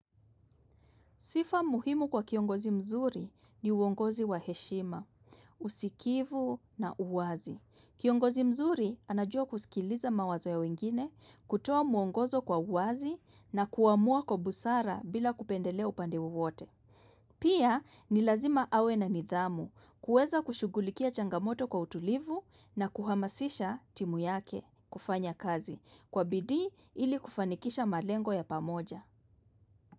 Sifa muhimu kwa kiongozi mzuri ni uongozi wa heshima, usikivu na uwazi. Kiongozi mzuri anajua kusikiliza mawazo ya wengine, kutoa muongozo kwa uwazi na kuamua kwa busara bila kupendelea upande wowote. Pia ni lazima awe na nidhamu kuweza kushughulikia changamoto kwa utulivu na kuhamasisha timu yake kufanya kazi kwa bidii ili kufanikisha malengo ya pamoja.